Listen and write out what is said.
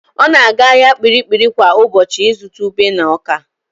Ọ na-aga ahịa Kpiri-kpiri kwa ụbọchị ịzụta ube na ọ́kà.